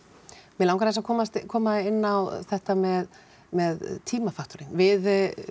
mig langar aðeins að koma koma inn á þetta með með tímafaktorinn við